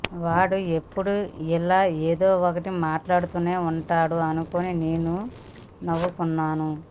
వాడు ఎప్పుడూ ఇలా ఏదో ఒకటి మాట్లాడుతూనే ఉంటాడు అనుకుని నేను నవ్వుకున్నాను